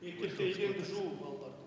мектепте еденді жуу балалардың